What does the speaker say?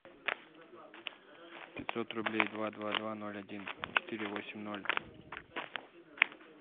пятьсот рублей два два два ноль один четыре восемь ноль